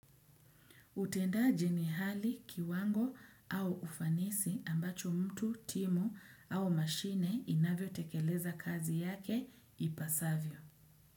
Utendaji ni hali, kiwango au ufanisi ambacho mtu, timu au mashine inavyotekeleza kazi yake ipasavyo.